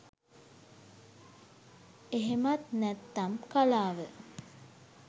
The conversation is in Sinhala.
එහෙමත් නැත්නම්කලාව